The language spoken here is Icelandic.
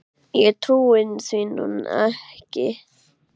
Ég trúi því nú ekki!